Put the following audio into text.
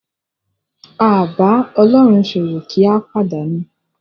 A bá Ọlọ́run ṣòwò kì í pàdánù.